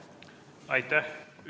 Aitäh!